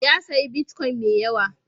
Ya sayi bitcoin mai yawa.